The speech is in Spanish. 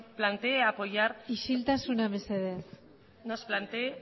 plantee apoyar isiltasuna mesedez nos plantee